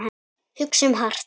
Hugsum hart.